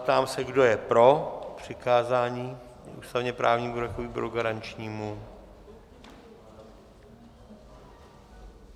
Ptám se, kdo je pro přikázání ústavně-právnímu výboru jako výboru garančnímu?